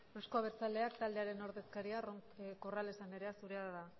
euzko abertzaleak taldearen ordezkaria corrales anderea zurea da